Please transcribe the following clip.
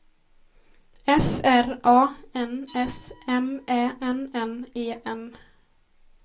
F R A N S M Ä N N E N